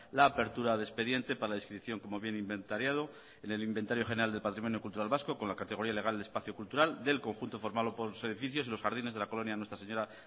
la apertura de expediente para la inscripción como viene inventariado en el inventario general del patrimonio cultural vasco con la categoría legal de espacio cultural del conjunto formado por los edificios y los jardines de la colonia nuestra señora